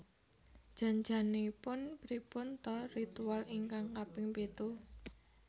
Jan janipun pripun ta ritual ingkang kaping pitu?